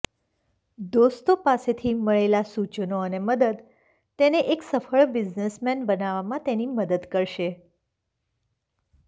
દોસ્તો પાસેથી મળેલા સૂચનો અને મદદ તેને એક સફળ બિઝનેસમેન બનાવામાં તેની મદદ કરશે